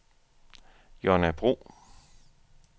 Jonna Bro